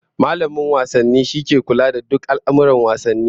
Mallamin wasanni shine ke kula da duk al'amurran wasanni